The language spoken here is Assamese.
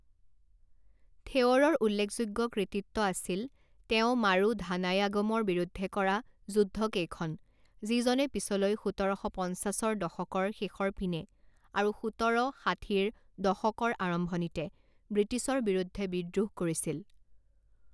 থেৱৰৰ উল্লেখযোগ্য কৃতিত্ব আছিল তেওঁ মাৰুধানায়াগমৰ বিৰুদ্ধে কৰা যুদ্ধকেইখন, যিজনে পিছলৈ সোতৰ শ পঞ্চাছৰ দশকৰ শেষৰ পিনে আৰু সোতৰ ষাঠিৰ দশকৰ আৰম্ভনিতে ব্ৰিটিছৰ বিৰুদ্ধে বিদ্ৰোহ কৰিছিল।